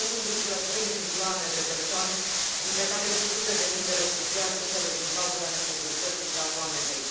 Peste 1,3 milioane de persoane, între care și sute de mii de refugiați suferă din cauza insecurității și a foametei.